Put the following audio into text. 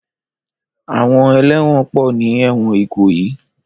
Àwọn ẹlẹ́wọ̀n pọ̀ ní ẹ̀wọn Ìkòyí.